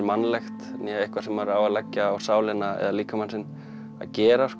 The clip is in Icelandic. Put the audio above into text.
mannlegt eitthvað sem maður á að leggja á sálina eða líkamann sinn að gera